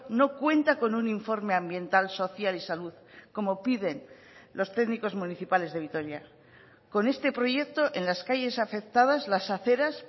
no cuenta con un informe ambiental social y salud como piden los técnicos municipales de vitoria con este proyecto en las calles afectadas las aceras